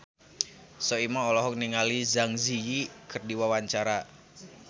Soimah olohok ningali Zang Zi Yi keur diwawancara